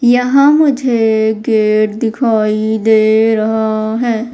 यहां मुझे गेट दिखाई दे रहा हैं।